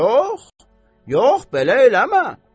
Yox, yox, belə eləmə.